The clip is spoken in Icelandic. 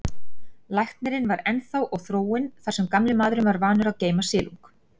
Lækurinn var þar ennþá og þróin, þar sem gamli maðurinn var vanur að geyma silung.